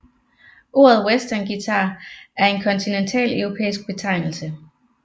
Ordet westernguitar er en kontinentaleuropæisk betegnelse